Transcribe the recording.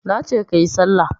Nace kayi sallah